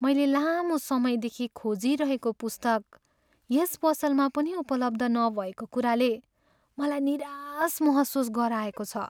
मैले लामो समयदेखि खोजिरहेको पुस्तक यस पसलमा पनि उपलब्ध नभएको कुराले मलाई निराश महसुस गराएको छ।